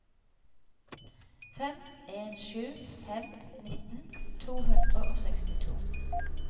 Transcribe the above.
fem en sju fem nitten to hundre og sekstito